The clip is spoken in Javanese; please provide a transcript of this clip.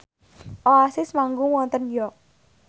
Oasis manggung wonten York